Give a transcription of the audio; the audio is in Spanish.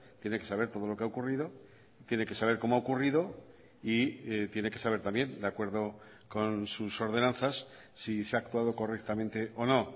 tiene que saber todo lo que ha ocurrido tiene que saber cómo ha ocurrido y tiene que saber también de acuerdo con sus ordenanzas si se ha actuado correctamente o no